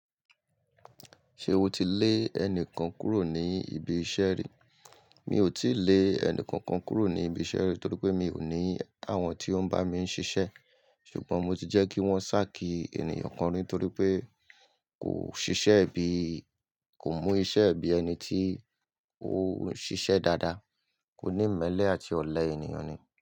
Ṣé o ti lé ẹnìkan kúrò ní ibi iṣẹ́ ri? Mi ò tíì lé ẹnìkankan kúrò ní ibi iṣẹ́ ri torí pé mi ò ní àwọn tí ó ń bá mi ń ṣiṣẹ́. Ṣùgbọ́n mo ti jẹ́ kí wọ́n ṣákì ènìyàn kan rí torí pé kò ṣiṣẹ́ bí, kò mú iṣẹ́ bí ẹni tí ó ń ṣiṣẹ́ dáadáa. Ó ní ìmẹ́lẹ̀ àti ọ̀lẹ ènìyàn ni.